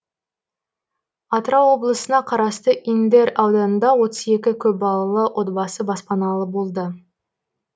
атырау облысына қарасты индер ауданында отыз екі көпбалалы отбасы баспаналы болды